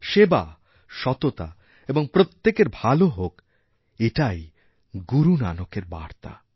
সেবা সত্য এবং প্রত্যেকেরভালো হোক এটাই গুরু নানকের বার্তা